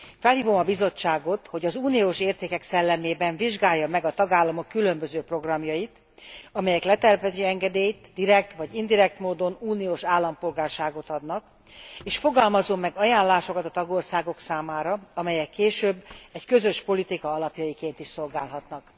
Felhívom a Bizottságot, hogy az uniós értékek szellemében vizsgálja meg a tagállamok különböző programjait, amelyek letelepedési engedélyt, direkt vagy indirekt módon uniós állampolgárságot adnak, és fogalmazzon meg ajánlásokat a tagországok számára, amelyek később egy közös politika alapjaiként is szolgálhatnak.